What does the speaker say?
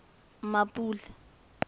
mmapule